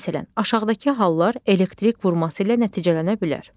Məsələn, aşağıdakı hallar elektrik vurması ilə nəticələnə bilər.